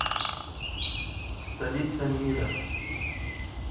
столица мира